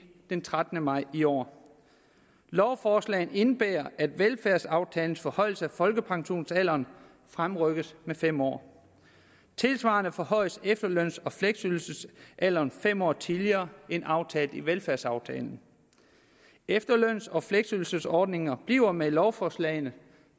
den trettende maj i år lovforslagene indebærer at velfærdsaftalens forhøjelse af folkepensionsalderen fremrykkes med fem år tilsvarende forhøjelse af efterløns og fleksydelsesalderen sker fem år tidligere end aftalt i velfærdsaftalen efterløns og fleksydelsesordningerne bliver med lovforslagene